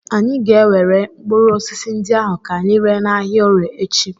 Anyị ga-ewere mkpụrụ osisi ndị ahụ ka anyị ree n'ahịa Orie echi.